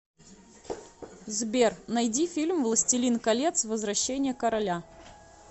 сбер найди фильм властелин колец возвращение короля